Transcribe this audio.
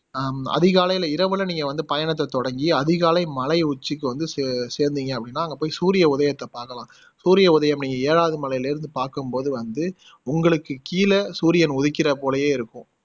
ஹம் அதிகாலைல இரவுல நீங்க வந்து பயணத்தை தொடங்கி அதிகாலை மலை உச்சிக்கு வந்து செ சேந்திங்க அப்படின்னா அங்க போய் சூரிய உதயத்தை பாக்கலாம் சூரிய உதயம் நீங்க ஏழாவது மலைல இருந்து பாக்கும்போது வந்து உங்களுக்கு கீழ சூரியன் உதிக்கிற போலயே இருக்கும்